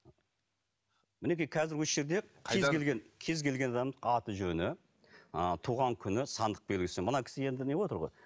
мінекей қазір осы жерде кез келген кез келген адамның аты жөні ы туған күні сандық белгісі мына кісі енді не боватыр ғой